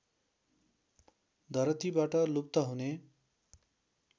धरतीबाट लुप्त हुने